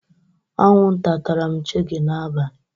Akwunta tara m shege n'abalị